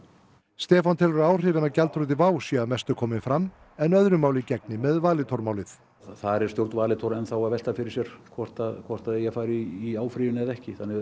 Stefán telur að áhrifin af gjaldþroti WOW séu að mestu komin fram en öðru máli gegni með Valitormálið þar er stjórn Valitor enn að velta fyrir sér hvort hvort eigi að fara í áfrýjun eða ekki